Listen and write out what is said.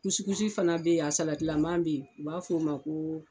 fana bɛ yen salatilaman bɛ yen u b'a fɔ o ma ko